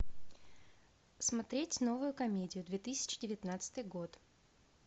смотреть новую комедию две тысячи девятнадцатый год